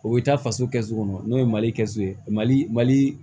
O bɛ taa faso kɛ so kɔnɔ n'o ye mali kɛ so ye mali mali